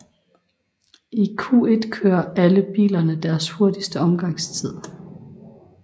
I Q1 kører alle kørerne deres hurtigste omgangstid